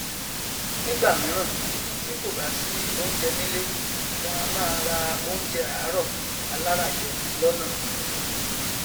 nígbàmíràn tí kò bá si oúnjẹ nílé wọn a máa ra oúnjẹ àárọ aláràjẹ lọnà